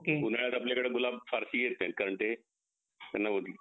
उन्हाळ्यात आपल्याकड गुलाब फारशील येतेल कारण ते त्यांना